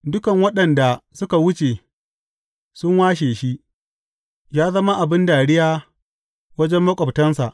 Dukan waɗanda suka wuce sun washe shi; ya zama abin dariya wajen maƙwabtansa.